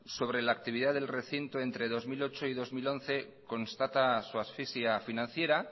sobre la actividad del recinto entre dos mil ocho y dos mil once constata su asfixia financiera